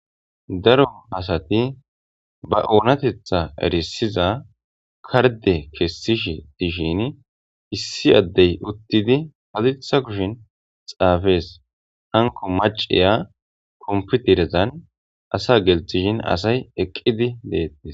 daro asati ba oonatetha erisiza karde kessishe dishin issi addey uttidi hadirsa kushin xaafees hanko maceya komputerezan asa gelthishin asay eqqidi deettes